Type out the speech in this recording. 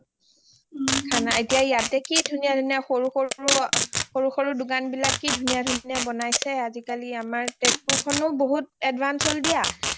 খানা, এতিয়া ইয়াতে কি ধুনীয়া ধুনীয়া সৰু সৰু দোকান বিলাক কি ধুনীয়া ধুনীয়া বনাইছে আজিকালি আমাৰ তেজপুৰ খনো বহুত advance হল দিয়া